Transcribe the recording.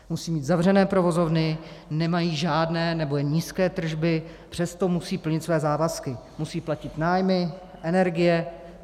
Musí mít zavřené provozovny, nemají žádné nebo jen nízké tržby, přesto musí plnit své závazky, musí platit nájmy, energie.